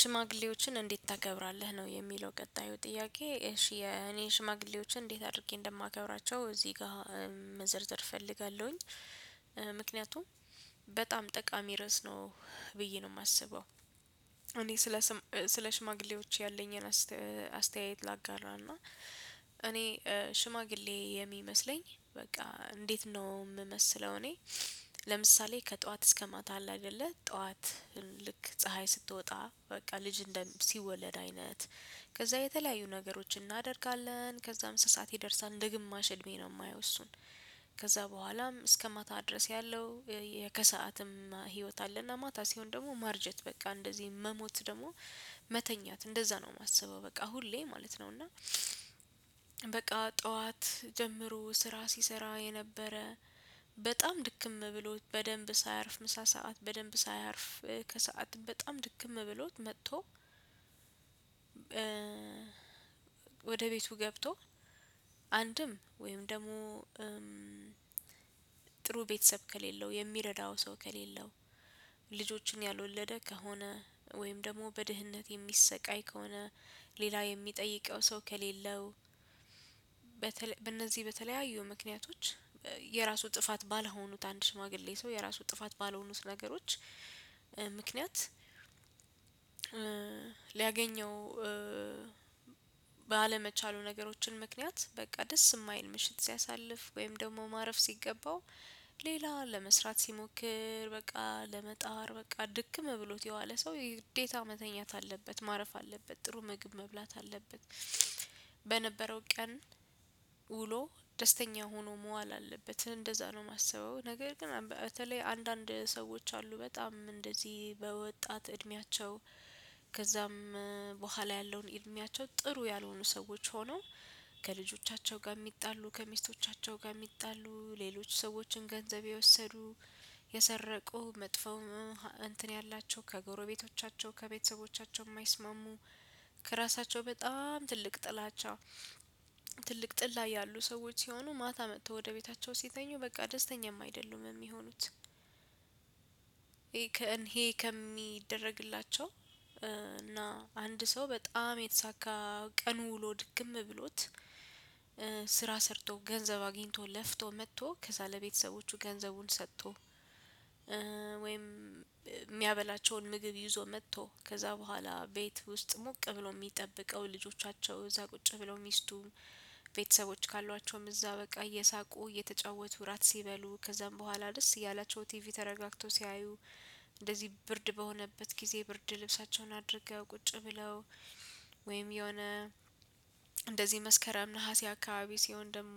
ሽማግሌዎችን እንዴት ታከብራለህ? ነው የሚለው ቀጣዩ ጥያቄ እሺ የኔ ሽማግሌዎችን እንዴት አድርጌ እንደማከብራቸው እዚህ ጋር መዘርዘር እፈልጋለሁኝ ምክንያቱም በጣም ጠቃሚ ርዕስ ነው ብዬ ነው የማስበው። እኔ ስለ ስም ስለ ሽማግሌዎች ያለኝን አስተያየት ላጋለው እና እኔ ሽማግሌ የሚመስለኝ በቃ እንዴት ነው የምመስለው። እኔ ለምሳሌ ከጠዋት እስከ ማታ አለ አይደለ ጠዋት ልክ ፀሀይ ስትወጣ በቃ ልጅ እንደ ሲወለድ አይነት ከዛ የተለያዩ ነገሮችን እናደርጋለን ከዛ እምስሳት ይደርሳል እንደ ግማሽ እድሜ ነው የማየው እሱን ከዛ በኋላም እስከ ማታ ድረስ ያለው ከሰአትም ህይወት አለና ማታ ሲሆን ደግሞ ማርጀት በቃ እንደዚህ መሞት ደግሞ መተኛት እንደዛ ነው የማስበው። በቃ ሁሌ ማለት ነው እና። በቃ ጠዋት ጀምሮ ስራ ሲሰራ የነበረ በጣም ድክም ብሎት በደንብ ሳያርፍ ምሳ ሰዓት በደንብ ሳያርፍ ከሰአት በጣም ድክም ብሎት መጥቶ ወደ ቤቱ ገብቶ አንድም ወይም ደግሞ ጥሩ ቤተሰብ ከሌለው የሚረዳው ሰው ከሌለው ልጆችን ያልወለደ ከሆነ ወይም ደግሞ በድህነት የሚሰቃይ ከሆነ ሌላ የሚጠይቀው ሰው ከሌለው በእነዚህ በተለያዩ ምክንያቶች የራሱ ጥፋት ባልሆኑት አንድ ሽማግሌ ሰው የራሱ ጥፋት ባልሆኑት ነገሮች ምክንያት ሊያገኘው ባለመቻሉ ነገሮችን ምክንያት በቃ ደስ የማይል ምሽት ሲያሳልፍ ወይም ደግሞ ማረፍ ሲገባው ሌላ ለመስራት ሲሞክር በቃ ለመጣር በቃ ድክም ብሎት የዋለ ሰው የግዴታ መተኛት አለበት ማረፍ አለበት ጥሩ ምግብ መብላት አለበት። በነበረው ቀን ውሎ ደስተኛ ሆኖ መዋል አለበት እንደዛ ነው የማስበው። ነገር ግን በተለይ አንዳንድ ሰዎች አሉ በጣም እንደዚህ በወጣት እድሜያቸው ከዛም በኋላ ያለውን እድሜያቸው ጥሩ ያልሆኑ ሰዎች ሆነው ከልጆቻቸው ጋር የሚጣሉ ከሚስቶቻቸው ጋር የሚጣሉ ሌሎች ሰዎችን ገንዘብ የወሰዱ የሰረቁ መጥፎ እንትን ያላቸው ከጎረቤቶቻቸው ከቤተሰቦቻቸው የማይስማሙ ከራሳቸው በጣም ትልቅ ጥላቻ ትልቅ ጥል ላይ ያሉ ሰዎች ሲሆኑ ማታ መጥተው ወደ ቤታቸው ሲተኙ በቃ ደስተኛም አይደሉም የሚሆኑት። ይሄ ከእኔ ከሚደረግላቸው እና አንድ ሰው በጣም የተሳካ ቀኑ ውሎ ድክም ብሎት ሰርቶ ገንዘብ አግኝቶ ለፍቶ መጥቶ ከዛ ለቤተሰቦቹ ገንዘቡን ሰጥቶ ወይም የሚያበላቸውን ምግብ ይዞ መጥቶ ከዛ በኋላ ቤት ውስጥ ሙቅ ብሎ የሚጠብቀው ልጆቻቸው እዛ ቁጭ ብለው ሚስቱ ቤተሰቦች ካሏቸውም እዛ በቃ እየሳቁ እየተጫወቱ ራት ሲበሉ ከዛም በኋላ ደስ እያላቸው ቲቪ ተረጋግተው ሲያዩ እንደዚህ ብርድ በሆነበት ጊዜ ብርድ ልብሳቸውን አድርገው ቁጭ ብለው ወይም የሆነ እንደዚህ መስከረም ነሀሴ አካባቢ ሲሆን ደግሞ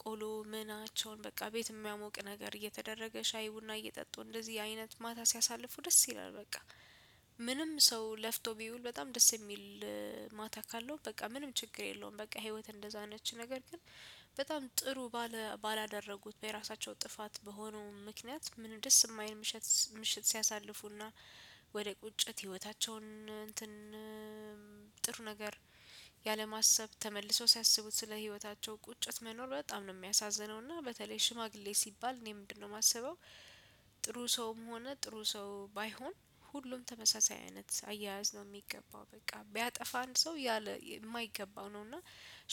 ቆሎ ምናቸውን በቃ ቤት የሚያሞቅ ነገር እየተደረገ ሻይ ቡና እየጠጡ እንደዚህ አይነት ማታ ሲያሳልፉ ደስ ይላል። በቃ ምንም ሰው ለፍቶ ቢውል በጣም ደስ የሚል ማታ ካለው በቃ ምንም ችግር የለውም። በቃ ህይወት እንደዛ ነች ነገር ግን በጣም ጥሩ ባለ ባላደረጉት በራሳቸው ጥፋት በሆነው ምክንያት ምንም ደስ የማይል ምሽት ምሽት ሲያሳልፉና ወደ ቁጭት ህይወታቸውን ጥር ነገር ያለማሰብ ተመልሰው ሲያስቡት ስለ ህይወታቸው ቁጭት መኖር በጣም ነው የሚያሳዝነው። እና በተለይ ሽማግሌ ሲባል እኔ ምንድነው የማሰበው? ጥሩ ሰውም ሆነ ጥሩ ሰው ባይሆን ሁሉም ተመሳሳይ አይነት አያያዝ ነው የሚገባው በቃ ቢያጠፋ አንድ ሰው ያለ የማይገባው ነው እና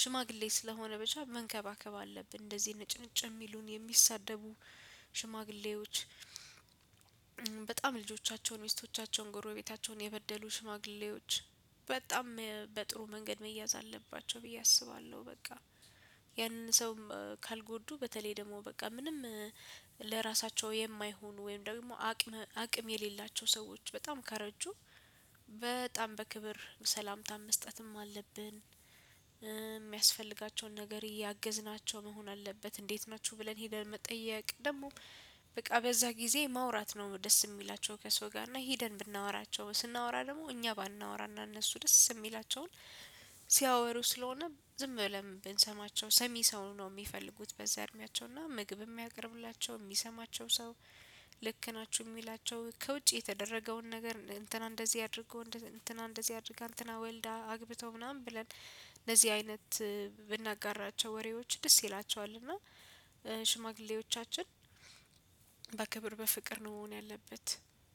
ሽማግሌ ስለሆነ በቻ መንከባከብ አለብን። እንደዚህ ነጭንጭ የሚሉን የሚሳደቡ ሽማግሌዎች በጣም ልጆቻቸውን ሚስቶቻቸውን ጎረቤታቸውን የበደሉ ሽማግሌዎች በጣም በጥሩ መንገድ መያዝ አለባቸው ብዬ አስባለሁ በቃ። ያንን ሰው ካልጎዱ በተለይ ደግሞ በቃ ምንም ለራሳቸው የማይሆኑ ወይም ደግሞ አቅም አቅም የሌላቸው ሰዎች በጣም ካረጁ በጣም በክብር ሰላምታን መስጠትም አለብን። የሚያስፈልጋቸውን ነገር እያገዝናቸው መሆን አለበት እንዴት ናችሁ ብለን ሄደን መጠየቅ ደግሞ በቃ በዛ ጊዜ ማውራት ነው ደስ የሚላቸው ከሰው ጋር እና ሄደን ብናወራቸው ስናወራ ደግሞ እኛ ባናወራና እነሱ ደስ የሚላቸውን ሲያወሩ ስለሆነ ዝም ብለን ብንሰማቸው ሰሚ ሰው ነው የሚፈልጉት። በዛ እድሜያቸው እና ምግብ የሚያቀርቡላቸው የሚሰማቸው ልክ ናችሁ የሚላቸው ከውጪ የተደረገውን ነገር እነ እንትና እንደዚህ አድርጎ እንትና እንደዚህ አድርጋ እንትና ወልዳ አግብቶ ምናምን ብለን እነዚህ አይነት ብናጋራቸው ወሬዎች ደስ ይላቸዋል። እና ሽማግሌዎቻችን በክብር በፍቅር ነው መሆን ያለበት